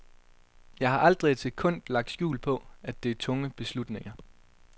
Jeg har aldrig et sekund lagt skjul på, at det er tunge beslutninger.